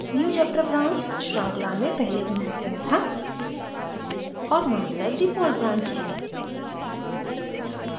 newchapter branch श्रृंखला में पहले बनाया गया था और master default branch है